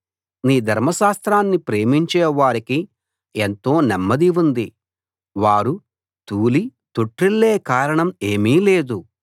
నీ ధర్మశాస్త్రాన్ని ప్రేమించేవారికి ఎంతో నెమ్మది ఉంది వారు తూలి తొట్రిల్లే కారణం ఏమీ లేదు